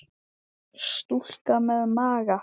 Stúlka með maga.